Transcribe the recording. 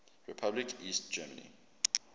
republic east germany